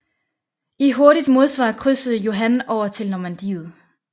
I hurtigt modsvar krydsede Johan over tili Normandiet